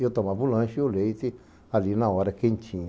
Eu tomava o lanche e o leite ali na hora, quentinho.